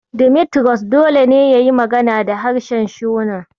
Dimitrus dole sai yayi magana da harshen Shona.